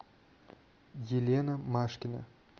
елена машкина